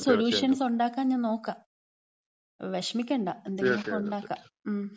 എന്തെങ്കിലും സൊലൂഷ്യൻസ് ഉണ്ടാക്കാൻ ഞാൻ നോക്കാം. വിഷമിക്കണ്ട. എന്തെങ്കിലൊക്കെ ഉണ്ടാക്കാം. മ്.